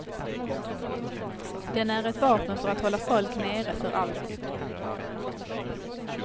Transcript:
Den är ett vapen för att hålla folk nere för alltid.